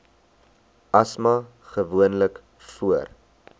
asma gewoonlik voor